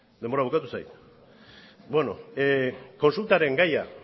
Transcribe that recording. denbora bukatu zait kontsultaren gaia